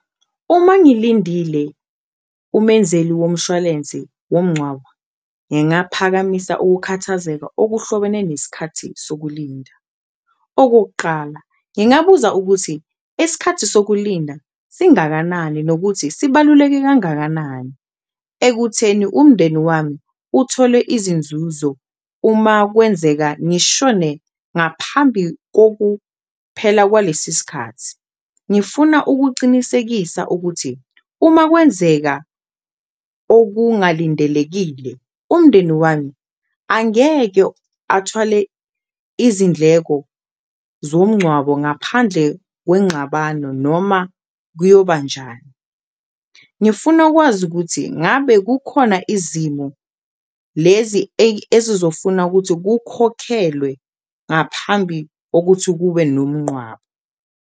Uma ngilindile umenzeli womshwalensi womngcwabo, ngingaphakamisa ukukhathazeka okuhlobene nesikhathi sokulinda, okokuqala ngingabuza ukuthi isikhathi sokulinda singakanani nokuthi sibaluleke kangakanani, ekutheni umndeni wami uthole izinzuzo uma kwenzeka ngishone ngaphambi kokuba phela kwalesi sikhathi. Ngifuna ukucinisekisa ukuthi uma kwenzeka okungalindelekile umndeni wami angeke athwale izindleko zomngcwabo ngaphandle kwenxabano noma kuyoba njani. Ngifuna ukwazi ukuthi ngabe kukhona izimo lezi ezizofuna ukuthi kukhokhelwe ngaphambi okuthi kube nomnqwabo.